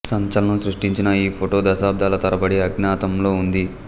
సంచలనం సృష్టించిన ఈ ఫొటో దశాబ్దాల తరబడి అజ్ఞాతంలో ఉంది